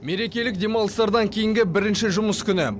мерекелік демалыстардан кейінгі бірінші жұмыс күні